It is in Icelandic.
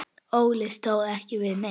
Óli stóð ekki við neitt.